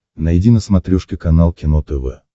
найди на смотрешке канал кино тв